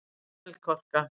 Melkorka